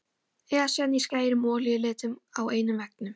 Esjan í skærum olíulitum á einum veggnum.